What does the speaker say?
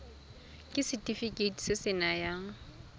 ke setefikeiti se se nayang